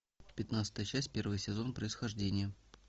пятнадцатая часть первый сезон происхождение